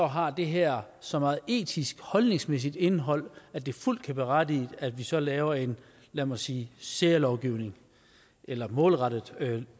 har det her så meget etisk holdningsmæssigt indhold at det fuldt kan berettige at vi så laver en lad mig sige særlovgivning eller målrettet